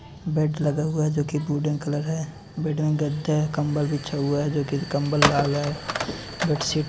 Bed लगा हुआ है जो की वुडन कलर है। बेड में गद्दे कंबल बिछे हुए हैं जो की कंबल लाल है बेडशीट --